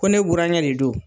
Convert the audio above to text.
Ko ne burankɛ de don